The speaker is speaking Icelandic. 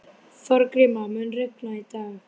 Þorgríma, mun rigna í dag?